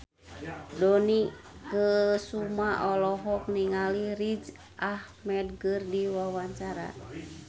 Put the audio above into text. Dony Kesuma olohok ningali Riz Ahmed keur diwawancara